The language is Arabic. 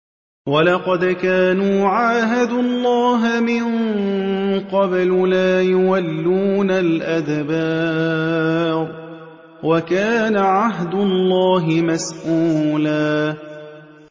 وَلَقَدْ كَانُوا عَاهَدُوا اللَّهَ مِن قَبْلُ لَا يُوَلُّونَ الْأَدْبَارَ ۚ وَكَانَ عَهْدُ اللَّهِ مَسْئُولًا